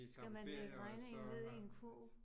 Skal man lægge regningen ned i en kurv?